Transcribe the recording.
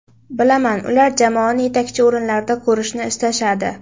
Bilaman ular jamoani yetakchi o‘rinlarda ko‘rishni istashadi.